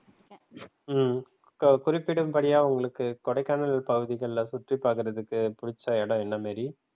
உம் குறிப்பிடும்படியா உங்களுக்கு கொடைக்கானல் பகுதிகள்ல சுற்றிப் பாக்குறதுக்கு புடிச்ச இடம் என்ன மேரி?